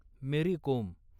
मेरी कोम